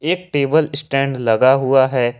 एक table stand लगा हुआ है।